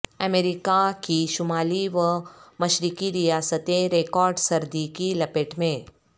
امریکہ کی شمالی و مشرقی ریاستیں ریکارڈ سردی کی لپیٹ میں